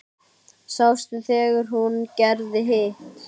Sástu þegar hún gerði hitt?